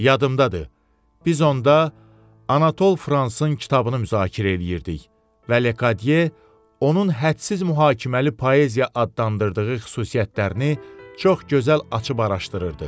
Yadımdadır, biz onda Anatol Fransın kitabını müzakirə eləyirdik və Lekadiye onun hədsiz mühakiməli poeziya adlandırdığı xüsusiyyətlərini çox gözəl açıb araşdırırdı.